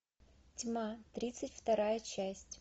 тьма тридцать вторая часть